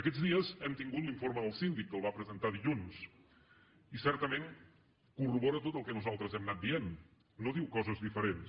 aquests dies hem tingut l’informe del síndic que el va presentar dilluns i certament corrobora tot el que nosaltres hem anat dient no diu coses diferents